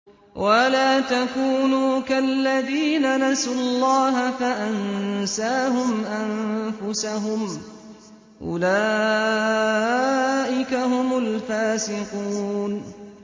وَلَا تَكُونُوا كَالَّذِينَ نَسُوا اللَّهَ فَأَنسَاهُمْ أَنفُسَهُمْ ۚ أُولَٰئِكَ هُمُ الْفَاسِقُونَ